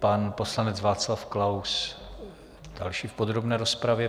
Pan poslanec Václav Klaus, další v podrobné rozpravě.